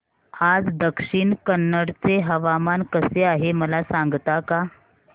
आज दक्षिण कन्नड चे हवामान कसे आहे मला सांगता का